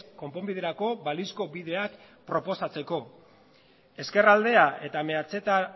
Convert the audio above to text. konponbiderako balizko bideak proposatzeko ezker aldea eta meatzeta